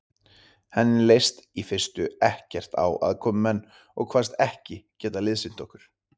Henni leist í fyrstu ekkert á aðkomumenn og kvaðst ekki geta liðsinnt okkur.